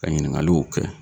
Ka ɲiningaluw kɛ